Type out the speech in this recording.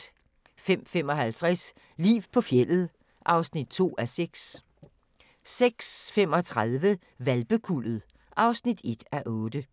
05:55: Liv på fjeldet (2:6) 06:35: Hvalpekuldet (1:8)